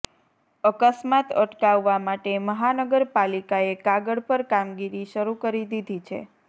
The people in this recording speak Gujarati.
અકસ્માત અટકાવવા માટે મહાનગરપાલિકાએ કાગળ પર કામગીરી શરૂ કરી દીધી છે